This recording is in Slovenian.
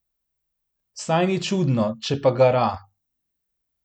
Saj ni čudno, če pa gara.